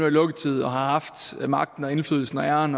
i lukketid og har haft magten og indflydelsen og æren